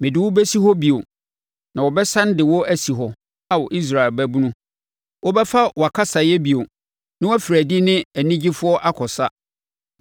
Mede wo bɛsi hɔ bio na wɔbɛsane de wo asi hɔ, Ao Israel babunu. Wobɛfa wʼakasaeɛ bio na wafiri adi ne anigyefoɔ akɔsa.